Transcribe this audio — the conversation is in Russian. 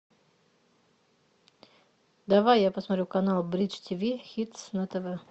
давай я посмотрю канал бридж тв хитс на тв